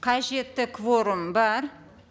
қажетті кворум бар